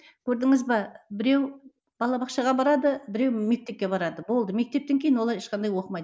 көрдіңіз бе біреу балабақшаға барады біреу мектепке барады болды мектептен кейін олар ешқандай оқымайды